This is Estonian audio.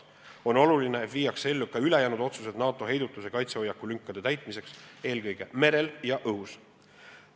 On oluline, et viiakse ellu ka ülejäänud otsused NATO heidutus- ja kaitsehoiaku lünkade täitmiseks, eelkõige merel ja õhus.